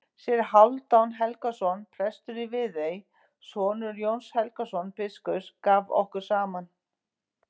Séra Hálfdan Helgason, prestur í Viðey, sonur Jóns Helgasonar biskups, gaf okkur saman.